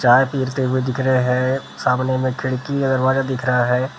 चाय पीते हुए दिख रहे हैं सामने में खिड़की दरवाजा दिख रहा है ।